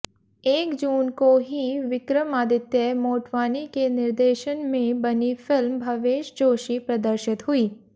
एक जून को ही विक्रमादित्य मोटवानी के निर्देशन में बनी फिल्म भवेश जोशी प्रदर्शित हुई